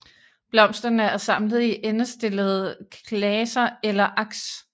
Blomsterne er samlet i endestillede klaser eller aks